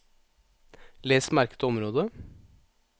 Les merket område